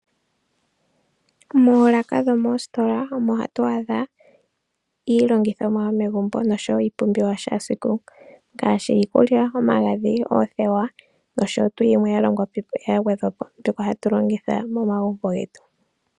Moolaka dhomoositola omo hatu adha iilongithomwa yomegumbo nosho woo iipumbiwa ya kehe esiku ngaashi iikulya, omagadhi, oodhewa nosho tuu yimwe ya gwedhwa po mbyoka hatu longitha momagumbo getu.